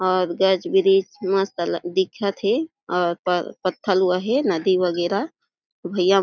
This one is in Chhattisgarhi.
और गज बिरिज मस्त अल दिखत हे और प पथल व हे नदी वगेरा भइया --